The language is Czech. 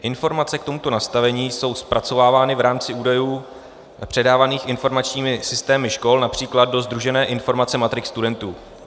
Informace k tomuto nastavení jsou zpracovávány v rámci údajů předávaných informačními systémy škol například do sdružené informace matrik studentů.